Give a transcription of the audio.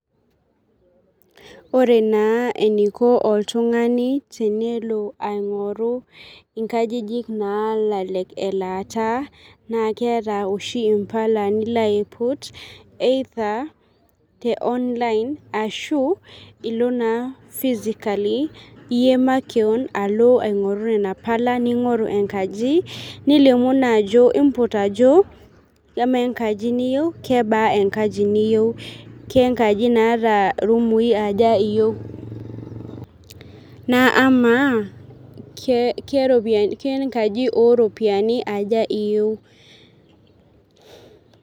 Ore naa eniko oltung'ani tenelo aing'oru nkajijik nalelek elaata naa keeta oshi mpala nilo aiput either te online ashu ilo naa physically iyie makeon aing'oru nena ardasini nilimu naa ajo iimput ajo kamaa enkaji niyieu kebaa enkaji niyieu kengaji naata rumui aja iyieu naa amaa kengaji ooropiyiani aja iyieu.